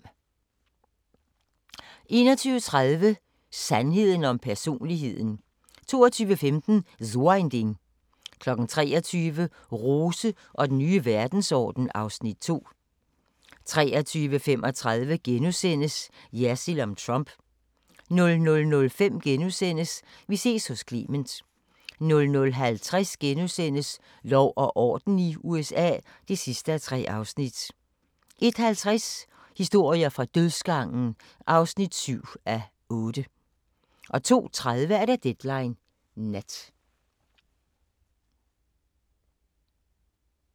21:30: Sandheden om personligheden 22:15: So ein Ding 23:00: Rose og den nye verdensorden (Afs. 2) 23:35: Jersild om Trump * 00:05: Vi ses hos Clement * 00:50: Lov og orden i USA (3:3)* 01:50: Historier fra dødsgangen (7:8) 02:30: Deadline Nat